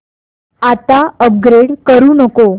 आता अपग्रेड करू नको